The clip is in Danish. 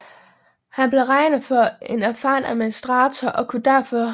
Han blev regnet for en erfaren administrator og kunne tilføre regeringen en kontinuitet til tiden før Struensee